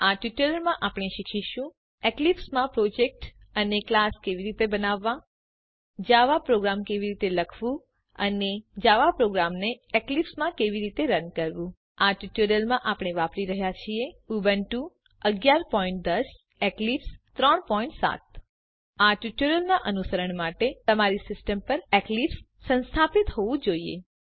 આ ટ્યુટોરીયલમાં આપણે શીખીશું એક્લીપ્સ માં પ્રોજેક્ટ અને ક્લાસ કેવી રીતે બનાવવાં જાવા પ્રોગ્રામ કેવી રીતે લખવું અને અને જાવા પ્રોગ્રામને એક્લીપ્સ માં કેવી રીતે રન કરવું આ ટ્યુટોરીયલ માટે આપણે વાપરી રહ્યા છીએ ઉબુન્ટુ 1110 એક્લીપ્સ 37 આ ટ્યુટોરીયલનાં અનુસરણ માટે તમારી સીસ્ટમ પર એક્લીપ્સ સંસ્થાપિત હોવું જોઈએ